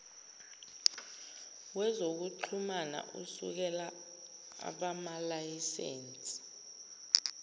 wezokuxhumana usekela abamalayisense